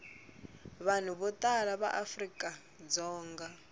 vanhu vo tala va afrikadzonga